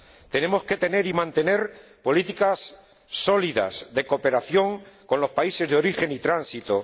Tenemos que tener y mantener políticas sólidas de cooperación con los países de origen y tránsito